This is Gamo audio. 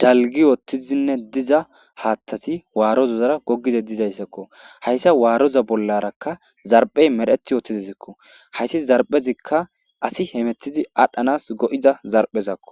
dalgi uttizinne diza haattasi waarozozara gogide dizayssakko hayssa waaroza bollarakka zarphey mereti wootidizikko hayssi zarphezikka asi hemetidi adhdhanas go7ida zarphezakko